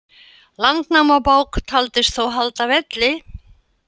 Landnámabók taldist þó halda velli.